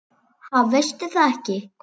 Ha, veistu það ekki?